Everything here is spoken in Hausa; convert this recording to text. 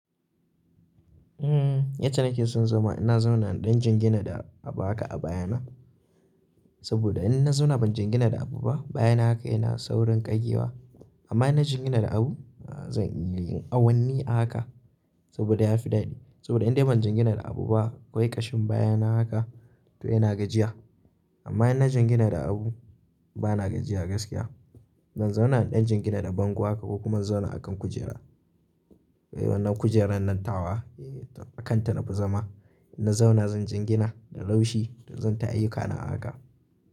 Yace nake son zama ina zauna in dan jingina da abu haka a baya na. Saboda in na zauna ban jingina da abu ba baya na haka yana saurin ƙage wa. Amma in na jingina da abu, zan yi awanni a haka saboda ya fi daɗi. Saboda in dai ban jingina da abu ba ƙwai ƙashin baya na haka to yana gajiya. Amma in na jingina da abu bana gajiya gaskiya. Zan zauna in dan jingina da bango haka ko kuma in zauna a kan kujera. Wannan kujerar nan tawa a kanta nafi zama. In na zauna zan jingina da laushi to zan ta ayyukana a haka.